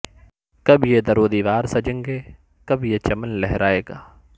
کب یہ در و دیوار سجیں گے کب یہ چمن لہرائے گا